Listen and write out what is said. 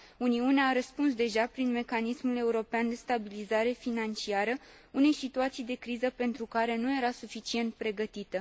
Uniunea a răspuns deja prin mecanismul european de stabilizare financiară unei situații de criză pentru care nu era suficient pregătită.